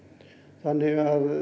þannig að